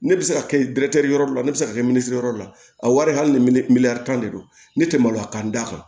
Ne bɛ se ka kɛ yɔrɔ la ne bɛ se ka kɛ minzi yɛrɛ la a wari hali ni miliyɔn tan de don ne tɛ maloya k'an da kan